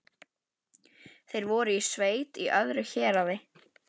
Þeir voru í sveit í öðru héraði.